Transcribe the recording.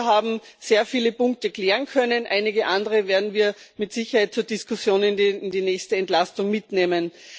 Wir haben sehr viele Punkte klären können, einige andere werden wir mit Sicherheit zur Diskussion in die nächste Entlastung mitnehmen.